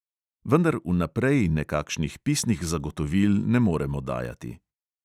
Vendar vnaprej nekakšnih pisnih zagotovil ne moremo dajati.